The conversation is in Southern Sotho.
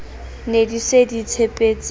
ne di se di tshepetse